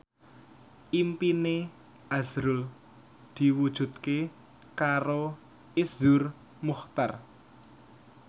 impine azrul diwujudke karo Iszur Muchtar